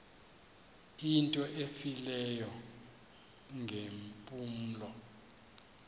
into efileyo ngeempumlo